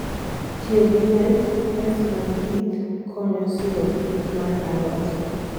tiyo gi net: nets mag pith konyo siro pith mar alot